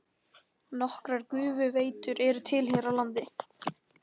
Nokkrar gufuveitur eru til hér á landi.